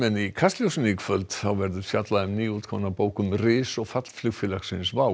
í Kastljósi í kvöld verður fjallað um nýútkomna bók um ris og fall flugfélagsins WOW